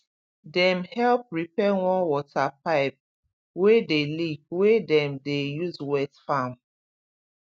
dem help repair one water pipe wey dey leak wey dem dey use wet farm